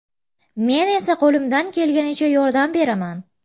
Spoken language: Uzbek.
Men esa qo‘limdan kelganicha yordam beraman.